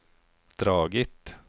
dragit